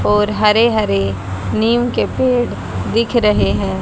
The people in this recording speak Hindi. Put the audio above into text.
और हरे हरे नीम के पेड़ दिख रहे हैं।